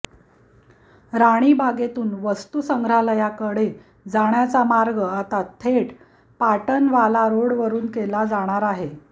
राणीबागेतून वस्तुसंग्रहालयाकडे जाण्याचा मार्ग आता थेट पाटनवाला रोडवरून केला जाणार आहे